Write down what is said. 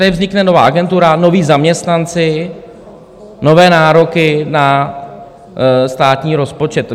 Tady vznikne nová agentura, noví zaměstnanci, nové nároky na státní rozpočet.